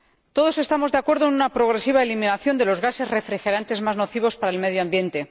Todos estamos de acuerdo en una progresiva eliminación de los gases refrigerantes más nocivos para el medio ambiente.